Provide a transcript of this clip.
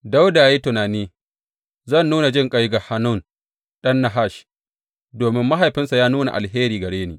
Dawuda ya yi tunani, Zan nuna jinƙai ga Hanun ɗan Nahash, domin mahaifinsa ya nuna alheri gare ni.